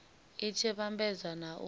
i tshi vhambedzwa na u